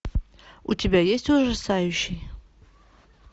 у тебя есть ужасающий